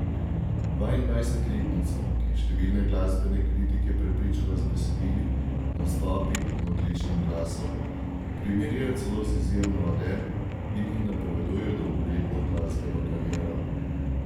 Dvaindvajsetletnico, ki je številne glasbene kritike prepričala z besedili, nastopi in odličnim glasom, primerjajo celo z izjemno Adele in ji napovedujejo dolgoletno glasbeno kariero.